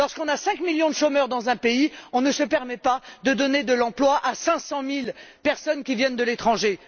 Lorsqu'on a 5millions de chômeurs dans un pays, on ne se permet pas de donner de l'emploi à 500000personnes qui viennent de l'étranger.